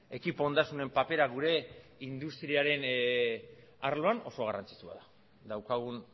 ekipo ondasunen papera gure industriaren arloan oso garrantzitsua da daukagun